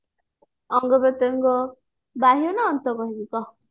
ଅଙ୍ଗ ପ୍ରତ୍ୟଙ୍ଗ ବାହ୍ୟ ନ ଅନ୍ତ କହିବି କହ